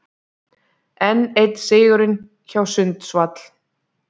Enn einn sigurinn hjá Sundsvall